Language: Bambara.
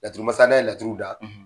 laturumasa n'a ye laturu da